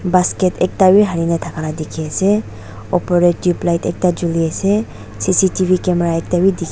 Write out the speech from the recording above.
Basket ekhta bhi halina thakala dekhey ase opor dae tubelight ekta juli ase C_C_T_V camera ekta bhi dekhe--